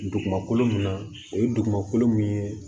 Dugumakolo min na o ye dugumakolo mun ye